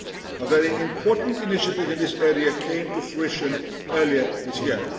law. A very important initiative in this area came to fruition earlier this year.